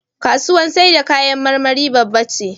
Kasuwar saida kayan marmari babba ce.